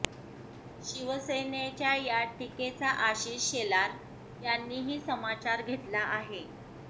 शिवसेनेच्या या टीकेचा आशिष शेलार यांनीही समाचार घेतला आहे